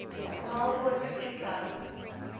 melbourne cricket club